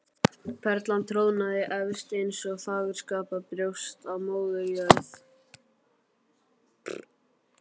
Perlan trónaði efst eins og fagurskapað brjóst á Móður jörð.